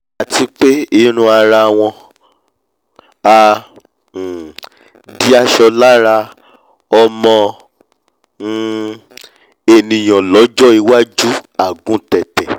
àti pé ìwù ara wọ́n á um di aṣọ lára ọmọ um ènìà lọ́jọ́ iwájú àguntẹ̀tẹ̀